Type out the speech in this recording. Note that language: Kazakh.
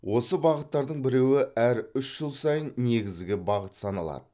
осы бағыттардың біреуі әр үш жыл сайын негізгі бағыт саналады